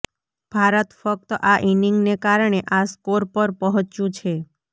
ભારત ફક્ત આ ઇનિંગને કારણે આ સ્કોર પર પહોંચ્યું છે